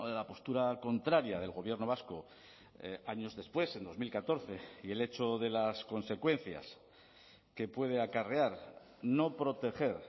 la postura contraria del gobierno vasco años después en dos mil catorce y el hecho de las consecuencias que puede acarrear no proteger